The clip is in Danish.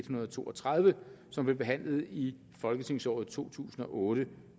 hundrede og to og tredive som blev behandlet i folketingsåret to tusind og otte